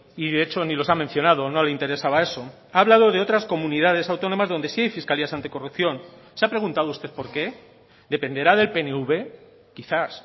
y de hecho ni los ha mencionado no le interesaba eso ha hablado de otras comunidades autónomas donde sí hay fiscalías anticorrupción se ha preguntado usted por qué dependerá del pnv quizás